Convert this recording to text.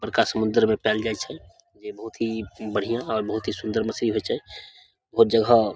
बड़का समुद्र में पाएल जाय छै जे बहुत ही बढ़िया बहुत ही सुंदर मछली होय छै बहुत जगह --